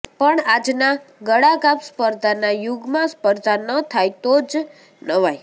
પણ આજના ગળાકાપ સ્પર્ધાના યુગમાં સ્પર્ધા ન થાય તો જ નવાઈ